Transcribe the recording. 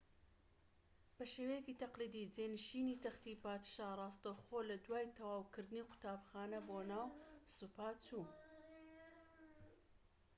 بە شێوەیەکی تەقلیدی جێنشینی تەختی پادشا ڕاستەوخۆ لە دوای تەواوکردنی قوتابخانە بۆ ناو سوپا چوو